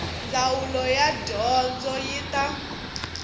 ndzawulo ya dyondzo yi ta